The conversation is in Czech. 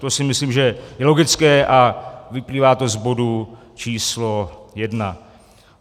To si myslím, že je logické, a vyplývá to z bodu číslo jedna.